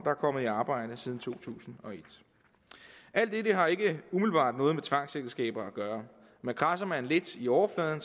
er kommet i arbejde siden to tusind og et alt dette har ikke umiddelbart noget med tvangsægteskaber at gøre men kradser man lidt i overfladen